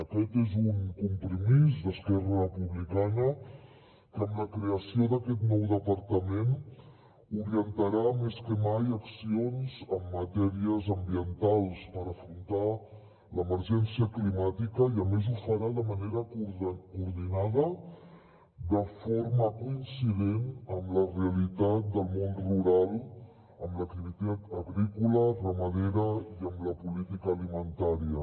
aquest és un compromís d’esquerra republicana que amb la creació d’aquest nou departament orientarà més que mai accions en matèries ambientals per afrontar l’emergència climàtica i a més ho farà de manera coordinada de forma coincident amb la realitat del món rural amb l’activitat agrícola ramadera i amb la política alimentària